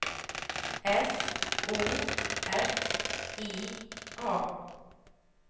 S O F I A